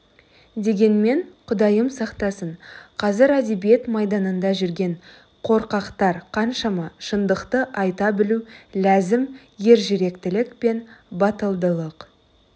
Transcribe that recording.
дегенмен құдайым сақтасын қазір әдебиет майданында жүрген қорқақтар қаншама шындықты айта білу ләзім ержүректілік пен батылдық